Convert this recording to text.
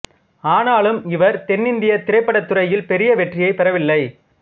ஆனாலும் இவர் தென்னிந்திய திரைப்படத் துறையில் பெரிய வெற்றியைப் பெறவில்லை